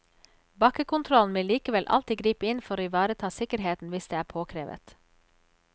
Bakkekontrollen vil likevel alltid gripe inn for å ivareta sikkerheten hvis det er påkrevet.